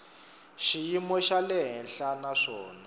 xiyimo xa le henhla naswona